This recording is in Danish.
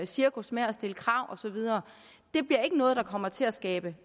cirkus med at stille krav og så videre bliver ikke noget der kommer til at skabe